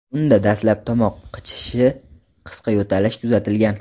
Unda dastlab tomoq qichishishi, qisqa yo‘talish kuzatilgan.